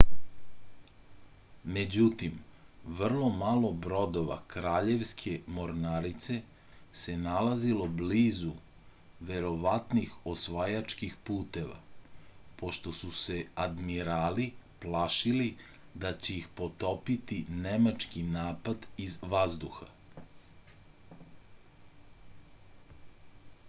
međutim vrlo malo brodova kraljevske mornarice se nalazilo blizu verovatnih osvajačkih puteva pošto su se admirali plašili da će ih potopiti nemački napad iz vazduha